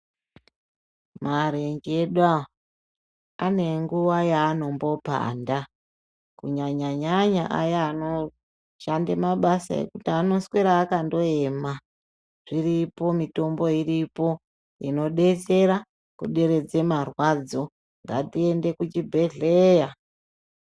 Marenje edu aya ane nguva yaanombopanda kunyanya nyanya aya anoshande mabasa ekuti anongoswera akangoema iripo mitombo inobetsera kuderedza marwadzo ngatiende kuchibhedhleya.